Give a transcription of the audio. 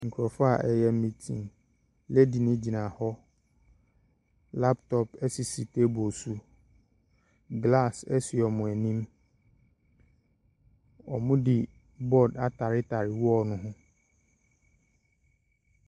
Nkurɔfo a ɛreyɛ meeting, lady no gyina hɔ, laptops sisi table so, glass si wɔn anim. Wɔde board ataretare dan ne ho.